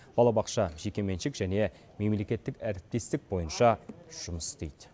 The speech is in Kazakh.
балабақша жекеменшік және мемлекеттік әріптестік бойынша жұмыс істейді